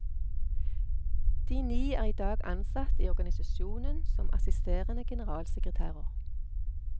De ni er i dag ansatt i organisasjonen som assisterende generalsekretærer.